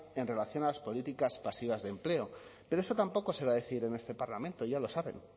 en relación a las políticas pasivas de empleo pero eso tampoco se va a decir en este parlamento ya lo saben